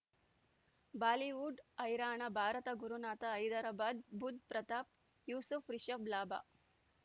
Bollywood ಹೈರಾಣ ಭಾರತ ಗುರುನಾಥ ಹೈದರಾಬಾದ್ ಬುಧ್ ಪ್ರತಾಪ್ ಯೂಸುಫ್ ರಿಷಬ್ ಲಾಭ